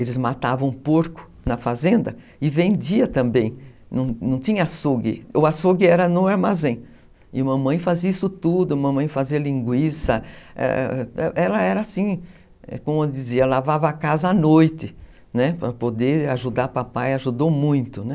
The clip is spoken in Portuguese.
Eles matavam porco na fazenda e vendiam também, não não tinha açougue, o açougue era no armazém e mamãe fazia isso tudo, mamãe fazia linguiça, ela era assim, como dizia, lavava a casa à noite, né, para poder ajudar papai, ajudou muito, né.